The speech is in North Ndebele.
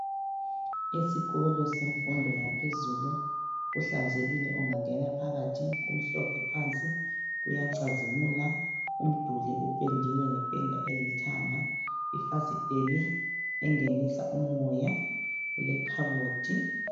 Esikolo semfundo yaphezulu, kuhlanzekile, ungangena phakathi. Kumhlophe phansi, kuyacazimula! Umduli upendiwe, ngependa elithanga. Ifasiteli, engenisa umoya, kulekhabothi.